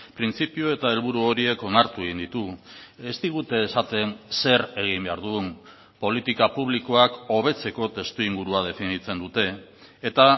printzipio eta helburu horiek onartu egin ditugu ez digute esaten zer egin behar dugun politika publikoak hobetzeko testu ingurua definitzen dute eta